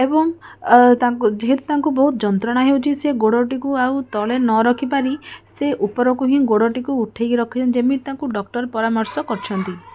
ଏବଂ ତାଙ୍କୁ ଯେହେତୁ ତାଙ୍କୁ ବହୁତ ଯନ୍ତ୍ରଣା ହେଉଛି ସେ ଗୋଡଟିକୁ ଆଉ ତଳେ ନ ରଖି ପାରି ସେ ଉପରକୁ ହିଁ ଗୋଡଟିକୁ ଉଠେଇକି ରଖିଛନ୍ତି ଯେମିତି ତାଙ୍କୁ ଡକ୍ଟର ପରାମର୍ଶ କରିଛନ୍ତି।